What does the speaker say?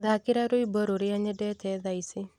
thaakira rwĩmbo rũria nyendete thaa ici